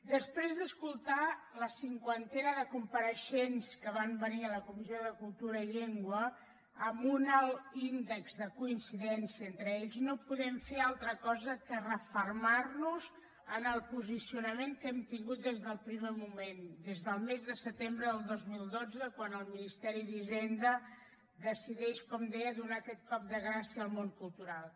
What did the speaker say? després d’escoltar la cinquantena de compareixents que van venir a la comissió de cultura i llengua amb un alt índex de coincidència entre ells no podem fer altra cosa que refermar nos en el posicionament que hem tingut des del primer moment des del mes de setembre del dos mil dotze quan el ministeri d’hisenda decideix com deia donar aquest cop de gràcia al món cultural